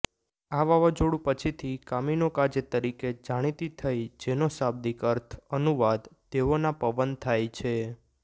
આ વાવાઝોડું પછીથી કામીનોકાઝે તરીકે જાણીતી થઈ જેનો શાબ્દિક અર્થ અનુવાદ દેવોના પવન થાય છે